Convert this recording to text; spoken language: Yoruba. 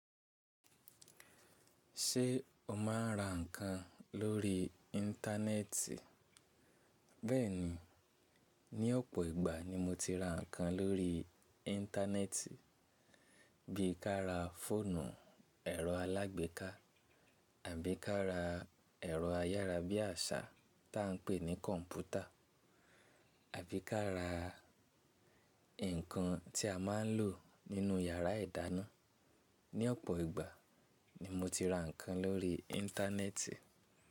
Ṣé o máa ń ra ǹkan lórí íńtánẹ́ẹ̀tì? Bẹ́ẹ̀ni, ní ọ̀pọ̀ ìgbà ni mo ti ra ǹkan lórí íńtánẹ́ẹ̀tì, bí i ká ra fóònù, ẹ̀rọ alágbèéká àbí ká ra ẹ̀rọ ayára bí àṣá tí à ń pè ní kọ̀ǹpútà àbí ká ra ǹkan tí a máa ń lò nínú yàrá ìdáná. Ní ọ̀pọ̀ ìgbà ni mo ti ra ǹkan lórí íńtánẹ́ẹ̀tì.